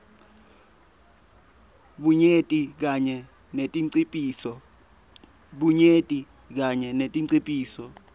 bunyenti kanye netinciphiso